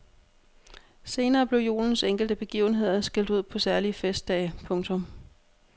Senere blev julens enkelte begivenheder skilt ud på særlige festdage. punktum